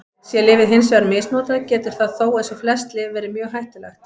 Sé lyfið hins vegar misnotað getur það þó, eins og flest lyf, verið mjög hættulegt.